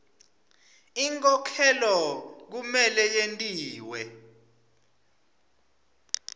inkhokhelo kumele yentiwe